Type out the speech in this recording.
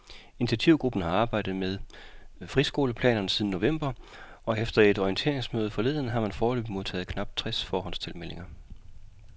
Initiativgruppen har arbejdet med friskoleplanerne siden november, og efter et orienteringsmøde forleden har man foreløbig modtaget knap tres forhåndstilmeldinger.